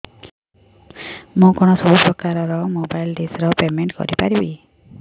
ମୁ କଣ ସବୁ ପ୍ରକାର ର ମୋବାଇଲ୍ ଡିସ୍ ର ପେମେଣ୍ଟ କରି ପାରିବି